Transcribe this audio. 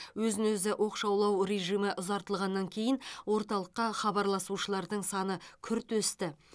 өзін өзі оқшаулау режимі ұзартылғаннан кейін орталыққа хабарласушылардың саны күрт өсті